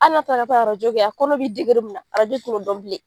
Hali n'a taa la ka taa kɛ, kɔnɔ be mun na ti n'o dɔn bilen.